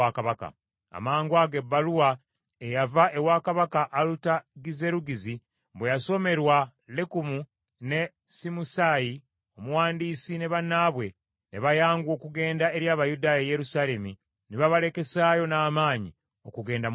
Amangwago ebbaluwa eyava ewa kabaka Alutagizerugizi bwe yasomerwa Lekumu ne Simusaayi omuwandiisi ne bannaabwe, ne bayanguwa okugenda eri Abayudaaya e Yerusaalemi, ne babalekesaayo n’amaanyi okugenda mu maaso.